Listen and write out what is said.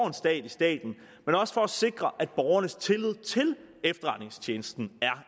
en stat i staten men også for at sikre at borgernes tillid til efterretningstjenesten er